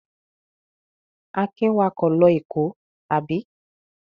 Akin wakọ̀ lọ Èkó, àbí?